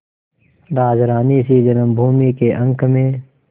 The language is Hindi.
राजरानीसी जन्मभूमि के अंक में